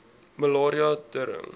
malaria tering